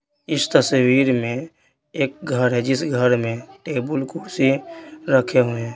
इस तस्वीर में एक घर है जिस घर में टेबल कुर्सी रखे हुए हैं।